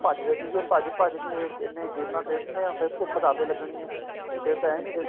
ਭਜਦੇ ਸੀਗੇ ਭਜਦੇ ਭਜਦੇ ਇੰਨੀ ਗੇਮਾ ਖੇਡਣੀਆਂ ਫੇਰ ਭੁੱਖ ਤਾਂ ਆਪੇ ਲੱਗਣੀ ਏ ਫ੍ਰੇ ਤਾਂ ਏ ਨੀਂ ਦੇਖਣਾ